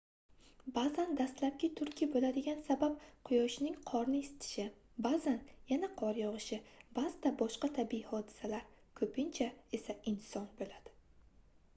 baʼzan dastlabki turtki boʻladigan sabab quyoshning qorni isitishi baʼzan yana qor yogʻishi baʼzida boshqa tabiiy hodisalar koʻpincha esa inson boʻladi